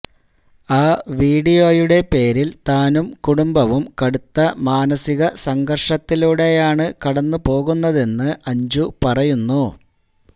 ആ വീഡിയോയുടെ പേരിൽ താനും കുടുംബവും കടുത്ത മാനസിക സംഘർഷത്തിലൂടെയാണ് കടന്നു പോകുന്നതെന്ന് അഞ്ജു പറയുന്നു